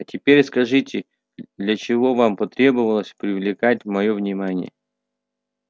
а теперь скажите для чего вам потребовалось привлекать моё внимание